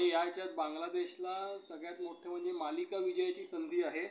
आणि याच्यात बांगलादेशला सगळ्यात मोठं म्हणजे मालिका विजयाची संधी आहे.